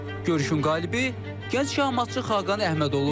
Görüşün qalibi gənc şahmatçı Xaqan Əhməd olur.